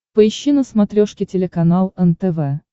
поищи на смотрешке телеканал нтв